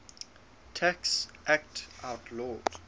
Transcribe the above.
tax act outlawed